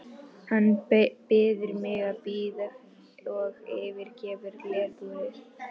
Hann biður mig að bíða og yfirgefur glerbúrið.